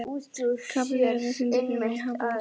Kapitola, syngdu fyrir mig „Háflóð“.